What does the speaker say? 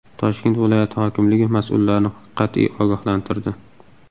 Toshkent viloyati hokimligi mas’ullarni qat’iy ogohlantirdi.